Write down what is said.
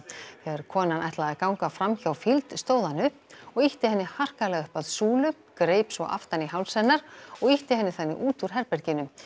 þegar konan ætlaði að ganga fram hjá stóð hann upp og ýtti henni harkalega upp að súlu greip svo aftan í háls hennar og ýtti henni þannig út úr herberginu